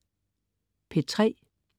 P3: